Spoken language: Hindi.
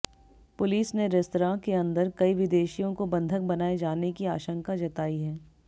पुलिस ने रेस्तरां के अंदर कई विदेशियों को बंधक बनाए जाने की आशंका जताई है